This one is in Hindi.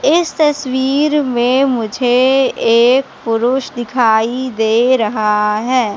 इस तस्वीर में मुझे एक पुरुष दिखाई दे रहा है।